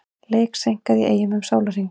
Leik seinkað í Eyjum um sólarhring